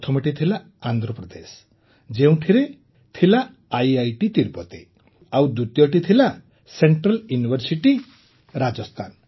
ପ୍ରଥମଟି ଥିଲା ଆନ୍ଧ୍ରପ୍ରଦେଶ ଯେଉଁଥିରେ ଆଇଆଇଟି ତିରୁପତି ଥିଲା ଆଉ ଦ୍ୱିତୀୟଟି ଥିଲା ସେଂଟ୍ରାଲ୍ ୟୁନିଭର୍ସିଟି ରାଜସ୍ଥାନ